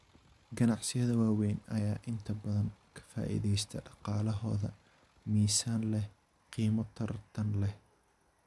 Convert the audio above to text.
Ganacsiyada waaweyn ayaa inta badan ka faa'iideysta dhaqaalahooda miisaan leh qiimo tartan leh.